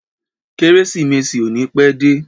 Kérésìmesì ò ní pẹ́ dé.